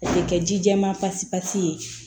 A tɛ kɛ ji jɛman pasi pasi ye